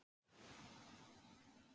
En ég fann ráð við því.